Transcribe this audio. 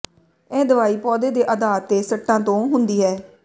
ਇਹ ਦਵਾਈ ਪੌਦੇ ਦੇ ਆਧਾਰ ਤੇ ਸੱਟਾਂ ਤੋਂ ਹੁੰਦੀ ਹੈ